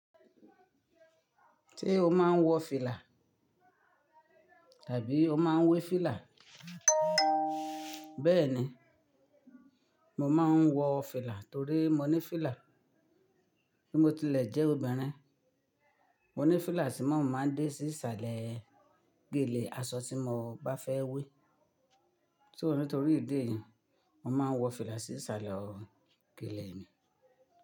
Ṣé o máa ń wọ fìlà? Tàbí o máa ń wé fìlà? Bẹ́ẹ̀ni, mo máa ń wọ fìlà torí mo ní fìlà, bí mo tilẹ̀ jẹ́ obìnrin. Mo ní fìlà tí mo máa dé sí ìsàlẹ̀ gèlè aṣọ tí mo bá fẹ́ wé. Só ní torí ìdí èyí, mo máa ń wọ fìlà sí ìsàlẹ̀ gèlè mi.